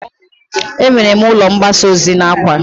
E nwere ụlọ mgbasa ozi n'Awka.